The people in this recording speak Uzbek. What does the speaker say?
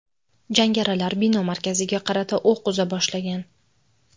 Jangarilar bino markaziga qarata o‘q uza boshlagan.